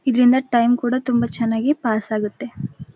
ಇದ್ರಿಂದ ಟೈಮ್ ಕೂಡ ತುಂಬ ಚೆನ್ನಾಗಿ ಪಾಸ್ ಆಗುತ್ತೆ.